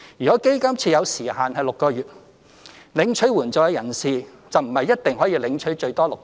若基金設有時限6個月，領取援助的人士便不一定可領取最多6個月。